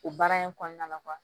O baara in kɔnɔna la